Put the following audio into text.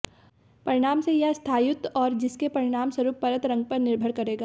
परिणाम से यह स्थायित्व और जिसके परिणामस्वरूप परत रंग पर निर्भर करेगा